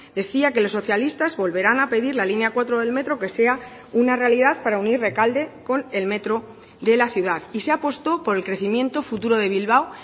decía que los socialistas volverán a pedir la línea cuatro del metro que sea una realidad para unir rekalde con el metro de la ciudad y se apostó por el crecimiento futuro de bilbao